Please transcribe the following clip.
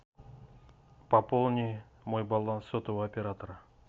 пополни мой баланс сотового оператора